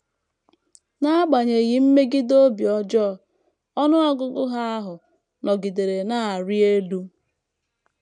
N’agbanyeghị mmegide obi ọjọọ, ọnụ ọgụgụ Ha ahụ nọgidere na - arị elu.